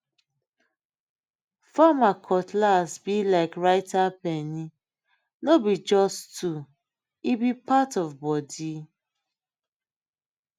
farmer cutlass be like writer pene no be just tool e be part of body